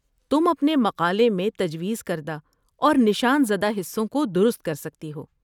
تم اپنے مقالے میں تجویز کردہ اور نشان زدہ حصوں کو درست کرسکتی ہو۔